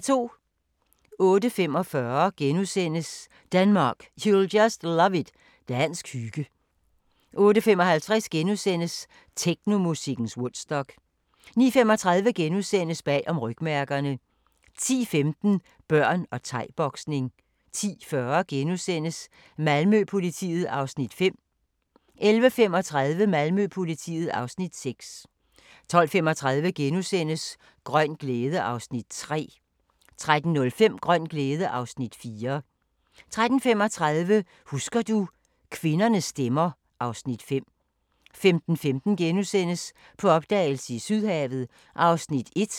08:45: Denmark, you'll just love it – dansk hygge * 08:55: Technomusikkens Woodstock * 09:35: Bag om rygmærkerne * 10:15: Børn og thai-boksning 10:40: Malmø-politiet (Afs. 5)* 11:35: Malmø-politiet (Afs. 6) 12:35: Grøn glæde (Afs. 3)* 13:05: Grøn glæde (Afs. 4) 13:35: Husker du - kvindernes stemmer (Afs. 5) 15:15: På opdagelse i Sydhavet (1:3)*